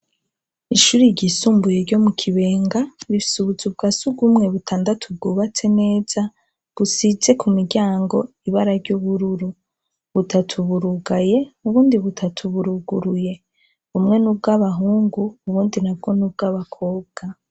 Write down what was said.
Ishuri ryisumbuye ryo mu Kibenga rifise ubuzu bwa surwumwe butandatu bwubatse neza, busize ku miryango ibara ry'ubururu. Butatu burugaye ubundi butatu buruguruye. Bumwe ni ubw'abahungu ubundi nabwo ni ubw'abakobwa.